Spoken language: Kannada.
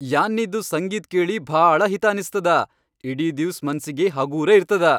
ಯಾನ್ನಿದು ಸಂಗೀತ್ ಕೇಳಿ ಭಾಳ ಹಿತಾ ಅನಸ್ತದ ಇಡೀ ದಿವ್ಸ್ ಮನ್ಸಿಗಿ ಹಗೂರ ಇರ್ತದ.